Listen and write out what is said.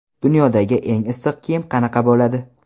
Dunyodagi eng issiq kiyim qanaqa bo‘ladi?.